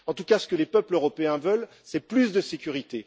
En tout cas, ce que les peuples européens veulent, c'est plus de sécurité.